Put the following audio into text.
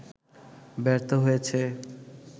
ব্যর্থ হয়েছে